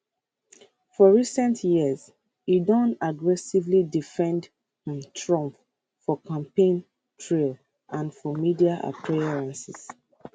for recent years e don aggressively defend um trump for campaign trail and for media appearances